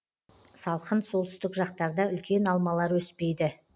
салқын солтүстік жақтарда үлкен алмалар өспейді